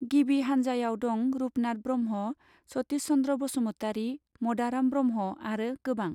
गिबि हानजावाव दं रूपनाथ ब्रह्मा सतीष चन्द्र बसुमतारी मदाराम ब्रहम आरो गोबां.